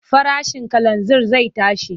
Farashin kalanzir zai tashi.